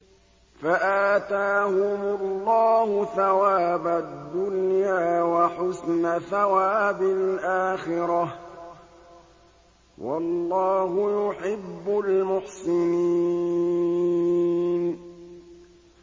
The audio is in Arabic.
فَآتَاهُمُ اللَّهُ ثَوَابَ الدُّنْيَا وَحُسْنَ ثَوَابِ الْآخِرَةِ ۗ وَاللَّهُ يُحِبُّ الْمُحْسِنِينَ